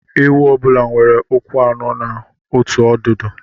Ewu ọ bụla nwere ụkwụ anọ na otu ọdụdu